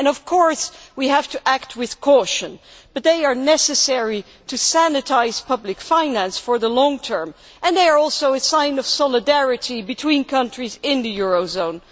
Of course we have to act with caution, but these measures are necessary to sanitise public finance in the long term and are also a sign of solidarity between countries in the eurozone.